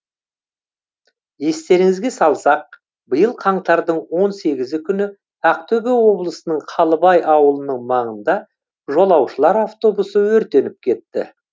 естеріңізге салсақ биыл қаңтардың он сегізі күні ақтөбе облысының қалыбай ауылының маңында жолаушылар автобусы өртеніп кетті